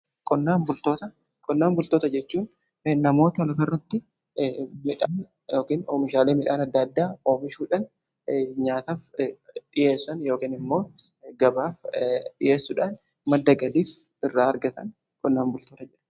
Qonnaan bultoota jechuun namoota lafa irratti midhaan oomishaalee midhaan adda addaa oomishuudhan nyaataaf dhiheessan yookiin immoo gabaaf dhiheessuudhaan madda galiif irraa argatan qonnaan bultoota jedhama.